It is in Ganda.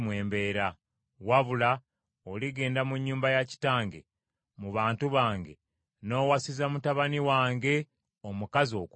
Wabula oligenda mu nnyumba ya kitange, mu bantu bange, n’owasiza mutabani wange omukazi okuva omwo.’